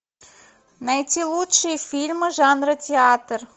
найти лучшие фильмы жанра театр